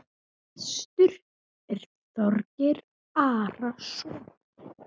Prestur er Þorgeir Arason.